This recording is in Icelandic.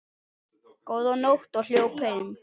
Góða nótt og hljóp heim.